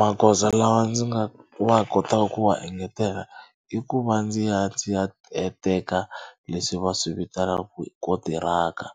Magoza lawa ndzi nga wa kotaka ku wa engetela i ku va ndzi ya ndzi ya teka leswi va swi vitanaka ku i kontiraka